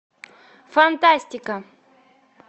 фантастика